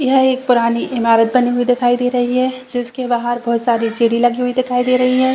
यह एक पुरानी इमारत बनी हुई दिखाई दे रही है जिसके बाहर बहुत सारी सीढ़ी लगी दिखाई दे रही है।